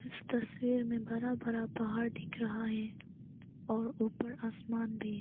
इस तस्वीर में बरा बरा पहाड़ दिख रहा है और ऊपर आसमान भी।